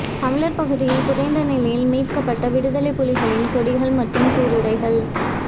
தமிழர் பகுதியில் புதைந்த நிலையில் மீட்கப்பட்ட விடுதலைப்புலிகளின் கொடிகள் மற்றும் சீருடைகள